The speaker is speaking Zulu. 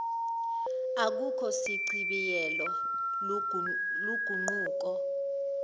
akukho sichibiyelo luguquko